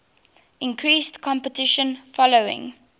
increased competition following